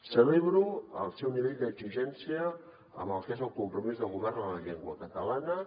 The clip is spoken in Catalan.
celebro el seu nivell d’exigència amb el que és el compromís del govern amb la llengua catalana